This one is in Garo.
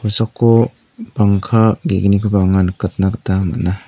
kosako bangka ge·gnikoba anga nikatna gita man·a.